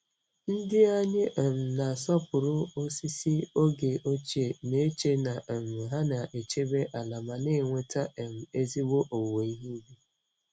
Ndị anyị um na-asọpụrụ osisi oge ochie, na-eche na um ha na-echebe ala ma na-eweta um ezigbo owuwe ihe ubi.